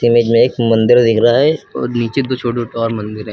Image में एक मंदिर दिख रहा है और नीचे दो छोटे छोटे और मंदिर है।